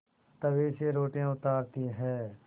तवे से रोटियाँ उतारती हैं